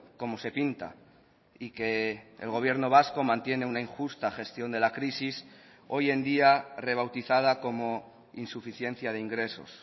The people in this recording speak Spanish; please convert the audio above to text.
como se pinta y que el gobierno vasco mantiene una injusta gestión de la crisis hoy en día rebautizada como insuficiencia de ingresos